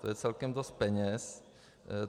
To je celkem dost peněz.